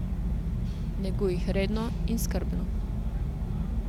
Neguj jih redno in skrbno.